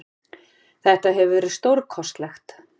Þetta hefur verið stórkostlegt.